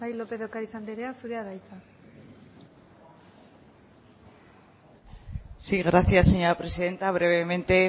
lópez de ocariz anderea zurea da hitza gracias señora presidenta brevemente